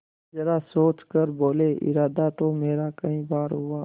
जरा सोच कर बोलेइरादा तो मेरा कई बार हुआ